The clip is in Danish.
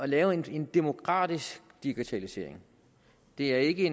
lave en demokratisk digitalisering det er ikke